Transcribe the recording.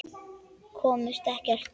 Komust ekkert.